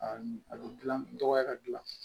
A bɛ dilan dɔgɔya ka gilan